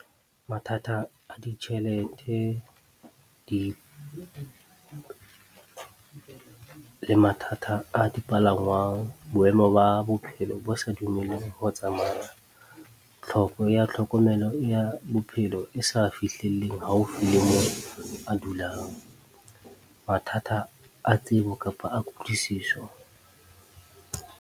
Mathata a ditjhelete le mathata a dipalangwang, boemo ba bophelo bo sa dumelleng ho tsamaya, tlhoko ya tlhokomelo ya bophelo e sa fihlelleng haufi le moo a dulang, mathata a tsebo kapa a kutlwisiso.